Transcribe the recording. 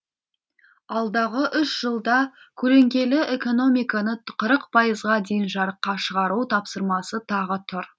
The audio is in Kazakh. алдағы үш жылда көлеңкелі экономиканы қырық пайызға дейін жарыққа шығару тапсырмасы тағы тұр